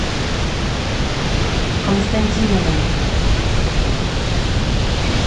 константиновым